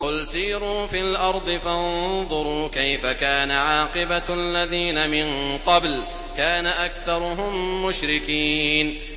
قُلْ سِيرُوا فِي الْأَرْضِ فَانظُرُوا كَيْفَ كَانَ عَاقِبَةُ الَّذِينَ مِن قَبْلُ ۚ كَانَ أَكْثَرُهُم مُّشْرِكِينَ